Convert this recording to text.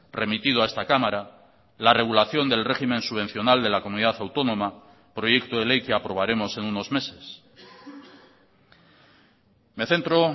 remitido a esta cámara la regulación del régimen subvencional de la comunidad autónoma proyecto de ley que aprobaremos en unos meses me centro